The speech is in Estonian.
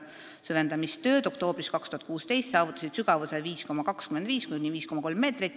Süvendamistööd oktoobris 2016 saavutasid sügavuse 5,25–5,3 meetrit.